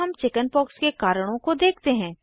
अब हम चिकिन्पॉक्स के कारणों को देखते हैं